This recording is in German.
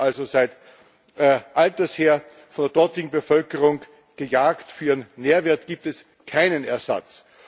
Robben werden also seit alters her von der dortigen Bevölkerung gejagt, für ihren Nährwert gibt es keinen Ersatz!